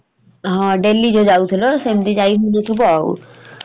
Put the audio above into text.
ହଁ daily ଯଉ ଯାଉଥିଲ ସେମିତି ଯାଇ ହଉନଥିବ ଆଉ